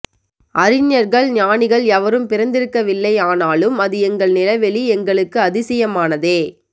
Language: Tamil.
அறிஞர்கள் ஞானிகள் எவரும் பிறந்திருக்கவில்லை ஆனாலும் அது எங்கள் நிலவெளி எங்களுக்கு அதிசயமானதே